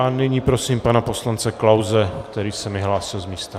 A nyní prosím pana poslance Klause, který se mi hlásil z místa.